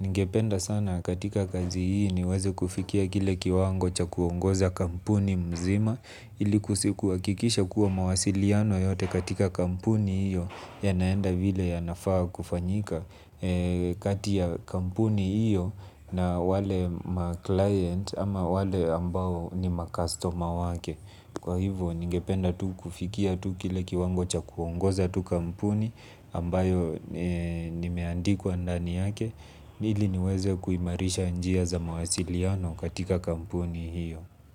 Ningependa sana katika kazi hii niweze kufikia kile kiwango cha kuongoza kampuni mzima. Ili kukikisha kuwa mawasiliano yote katika kampuni hiyo ya naenda vile ya nafaa kufanyika. Katia kampuni hiyo na wale ma-client ama wale ambao ni ma-customer wake. Kwa hivyo ningependa tu kufikia tu kile kiwango cha kuongoza tu kampuni ambayo nimeandikwa ndani yake, ili niweze kuimarisha njia za mawasiliano katika kampuni hiyo.